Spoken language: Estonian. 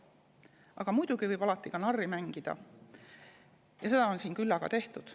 Aga muidugi võib alati ka narri mängida ja seda on siin küllaga tehtud.